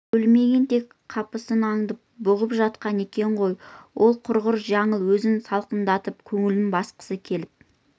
өлмеген тек қапысын аңдып бұғып жатқан екен ғой ол құрғыр жаңыл өзін салқындатып көңілін басқысы келіп